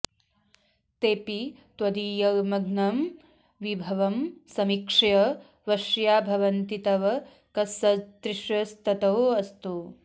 तेपि त्वदीयमनघं विभवं समीक्ष्य वश्या भवन्ति तव कस्सदृशस्ततोऽस्तु